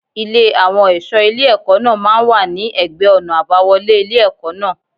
Ilé àwọn ẹ̀ṣọ́ ilé ẹ̀kọ́ náà máa ń wà ní ẹ̀gbẹ́ ọ̀nà àbáwọlé ilé ẹ̀kọ́ náà.